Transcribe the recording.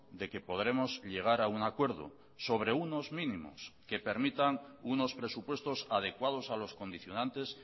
de que podremos llegar a un acuerdo sobre unos mínimos que permitan unos presupuestos adecuados a los condicionantes